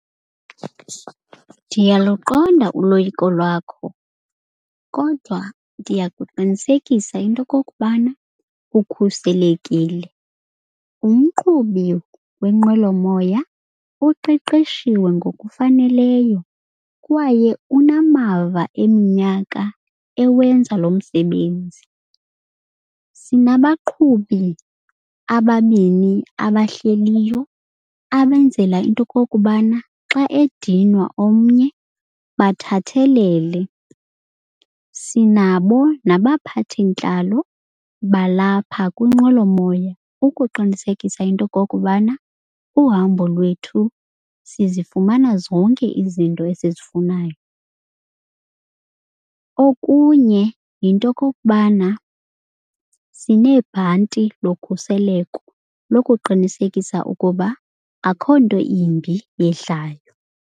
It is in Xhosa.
Ndiyaluqonda uloyiko lwakho kodwa ndiyakuqinisekisa into yokokubana ukhuselekile. Umqhubi wenqwelomoya uqeqeshiwe ngokufaneleyo, kwaye unamava eminyaka ewenza lo msebenzi. Sinabaqhubi ababini abahleliyo abenzela into yokokubana xa ediniwa omnye bathathelele. Sinabo nabaphathintlalo balapha kwinqwelomoya ukuqinisekisa into yokokubana uhambo lwethu sizifumana zonke izinto esizifunayo. Okunye yinto yokokubana sineebhanti lokhuseleko lokuqinisekisa ukuba akho nto imbi yehlayo.